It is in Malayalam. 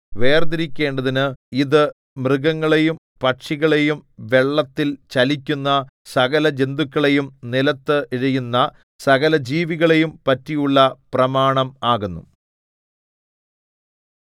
വേർതിരിക്കേണ്ടതിന് ഇതു മൃഗങ്ങളെയും പക്ഷികളെയും വെള്ളത്തിൽ ചലിക്കുന്ന സകലജന്തുക്കളെയും നിലത്ത് ഇഴയുന്ന സകലജീവികളെയും പറ്റിയുള്ള പ്രമാണം ആകുന്നു